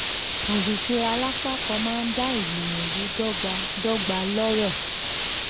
àṣìṣe alápákan máa dá ìgbìyànjù dó̩gba dó̩gba lóró.